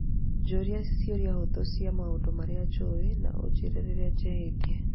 njũria ciũria hũthũ ciĩgiĩ maũndũ marĩa njũĩ na ũnjĩĩre rĩrĩa njĩhĩtie